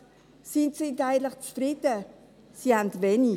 Sie sind eigentlich zufrieden, sie haben wenig.